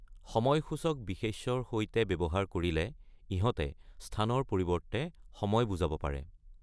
সময় সূচক বিশেষ্যৰ সৈতে ব্যৱহাৰ কৰিলে ইহঁতে স্থানৰ পৰিৱৰ্তে সময় বুজাব পাৰে।